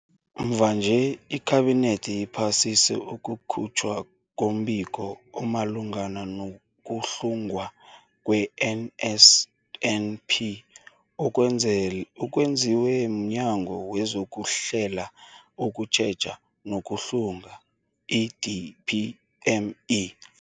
Mvanje, iKhabinethi iphasise ukukhutjhwa kombiko omalungana nokuhlungwa kwe-NSNP okwenzel okwenziwe mNyango wezokuHlela, ukuTjheja nokuHlunga, i-DPME.